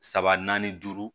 Saba naani duuru